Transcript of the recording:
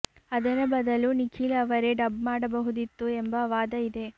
ಅದರ ಬದಲು ನಿಖಿಲ್ ಅವರೇ ಡಬ್ ಮಾಡಬಹುದಿತ್ತು ಎಂಬ ವಾದ ಇದೆ